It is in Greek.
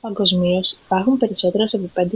παγκοσμίως υπάρχουν περισσότερες από 5.000